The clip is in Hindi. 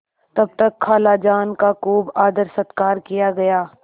तब तक खालाजान का खूब आदरसत्कार किया गया